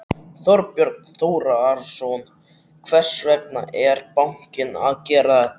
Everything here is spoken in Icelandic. Þorbjörn Þórðarson: Hvers vegna er bankinn að gera þetta?